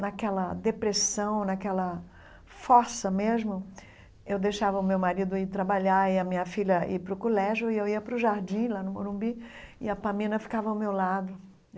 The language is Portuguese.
Naquela depressão, naquela fossa mesmo, eu deixava o meu marido ir trabalhar e a minha filha ir para o colégio e eu ia para o jardim, lá no Morumbi, e a Pamina ficava ao meu lado.